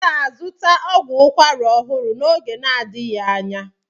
M ga-azụta ọgwụ ukwara ọhụrụ n'oge na-adịghị anya.